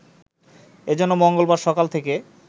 এ জন্য মঙ্গলবার সকাল থেকে